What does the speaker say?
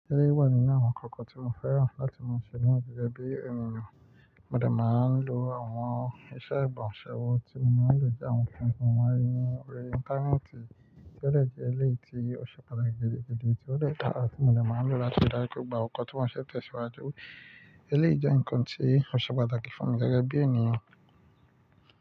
Eleyii wa nínú àwọn ǹnkan kan tí mo fẹ́ràn láti máa ṣe na jejẹ bí ènìyàn. Mo dà máa ń lo àwọn iṣẹ́ ìbọ̀ṣẹ́ owó tí mo máa ń lò jẹ́ àwọn ohun tí mo máa rí nínú orí Íńtánẹ́ẹ̀tì tí ó dè jẹ́ eléyìí tí ó ṣe pàtàkì gidi, tí ó dè dàrà tí mo dà máa ń lò láti ri dá jú pa gbogbo kọ̀ tí ṣẹ̀ tẹ̀ síwájú. Eléyìí jẹ́ ǹkan tí ó ṣe pàtàkì fún mi gẹ́gẹ́ bí ènìyàn.